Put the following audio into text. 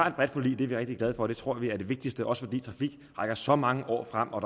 et bredt forlig og det er vi rigtig glade for vi tror det er det vigtigste også fordi trafik rækker så mange år frem og